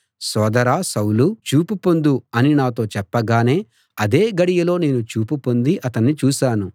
సోదరా సౌలూ చూపు పొందు అని నాతో చెప్పగానే అదే గడియలో నేను చూపు పొంది అతణ్ణి చూశాను